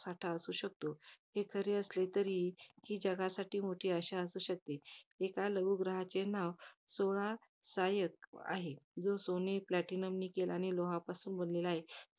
साठा असू शकतो. हे खरे, असले तरी, जगा~ तरी हे जगासाठी मोठी अशा असू शकते. एका लघु ग्रहाचे नाव, सोळा सायक, आहे. जे सोने platinum nickel आणि लोहापासून बनलेला आहे.